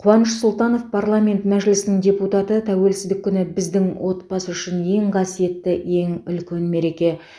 қуаныш сұлтанов парламент мәжілісінің депутаты тәуелсіздік күні біздің отбасы үшін ең қасиетті ең үлкен мереке